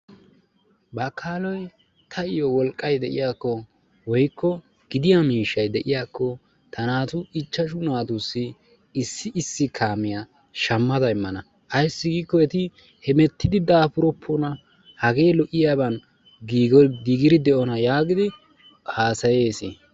Bakaaloy tayoo wolqqay de'iyaakko woykko gidiyaa miishshay de'iyaakko ta naatu ichchaashshu natussi issi issi kaamiyaa shaammada immana ayssi giiko eti heemmettidi daapuroppona. Hagee lo"iyaaban giigidi de'ona yaagidi haasayeesi.